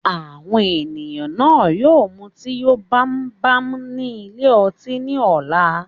Àwọn èèyàn náà yóò mutí yó bámúbámú ní ilé ọtí ni ọ̀la